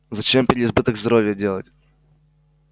зачем переизбыток здоровья делать